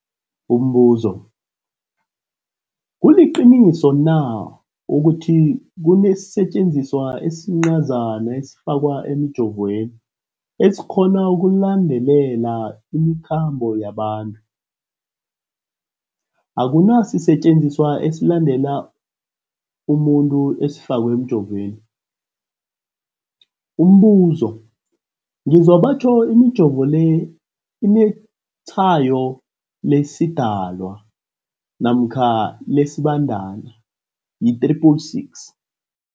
Umbuzo, kuliqiniso na ukuthi kunesisetjenziswa esincazana esifakwa emijovweni, esikghona ukulandelela imikhambo yabantu? Akuna sisetjenziswa esilandelela umuntu esifakwe emijoveni. Umbuzo, ngizwa batjho imijovo le inetshayo lesiDalwa namkha lesiBandana i-666.